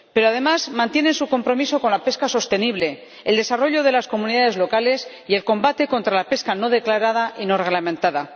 pero, además, mantienen su compromiso con la pesca sostenible, el desarrollo de las comunidades locales y el combate contra la pesca no declarada y no reglamentada.